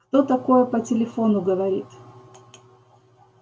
кто такое по телефону говорит